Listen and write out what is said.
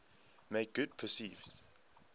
make good perceived